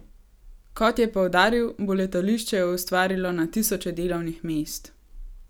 Kot je poudaril, bo letališče ustvarilo na tisoče delovnih mest.